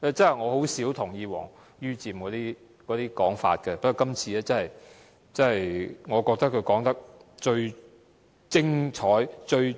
我甚少同意王于漸的說法，但我覺得這是他說得最精彩及刺